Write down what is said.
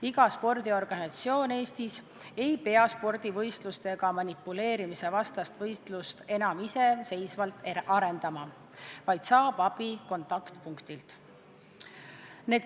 Eesti spordiorganisatsioonid ei pea spordivõistlustega manipuleerimise vastast võitlust enam iseseisvalt pidama, vaid nad saavad abi kontaktpunktilt.